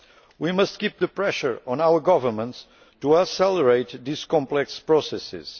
We must keep the pressure on our governments to accelerate these complex processes.